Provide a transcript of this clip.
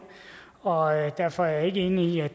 og derfor er jeg ikke enig i at